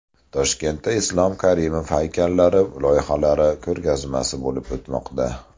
Toshkentda Islom Karimov haykallari loyihalari ko‘rgazmasi bo‘lib o‘tmoqda.